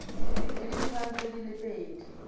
le ditshwantsho di le pedi